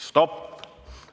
Stopp!